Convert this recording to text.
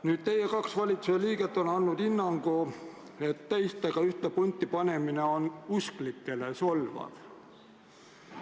Kaks teie valitsuse liiget on andnud hinnangu, et teistega ühte punti panemine on usklikele solvav.